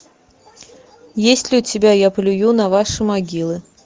есть ли у тебя я плюю на ваши могилы